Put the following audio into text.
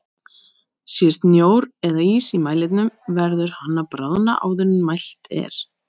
Sé snjór eða ís í mælinum verður hann að bráðna áður en mælt er.